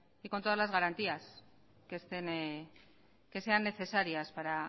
y con todas la garantías que sean necesarias para